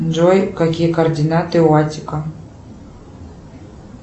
джой какие координаты у аттика